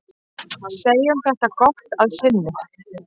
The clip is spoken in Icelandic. Segjum þetta gott að sinni.